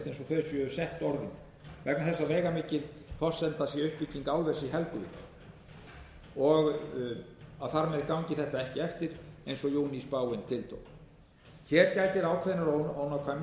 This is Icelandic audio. þess að veigamikil forsenda sé uppbygging álvers í helguvík og þar með gangi þetta ekki eftir eins og júníspáin tiltók hér gætir ákveðinnar ónákvæmni þar